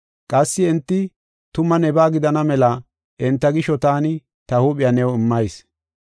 Qassi enti tuma nebaa gidana mela enta gisho taani ta huuphiya new immayis.